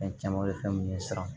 Fɛn caman bɛ fɛn minnu ye siran